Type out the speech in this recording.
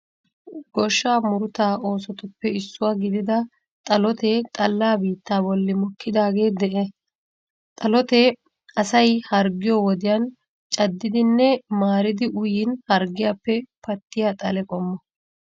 Goshshaa murutaa oosotuppe issuwa gidida xalotee xalla biittaa bolli mokkidaage de'ee. Xalotee asay harggiyo wodiyan caddidinne maaridi uyiin harggiyappe pattiya xale qommo.